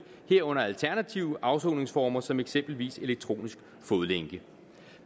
herunder alternative afsoningsformer som eksempelvis elektronisk fodlænke